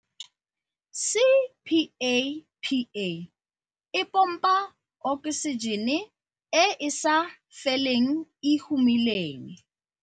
CPAPA e pompa oksijene e e sa feleng e e humileng.